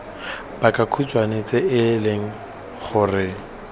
pakakhutshwe tse e leng gore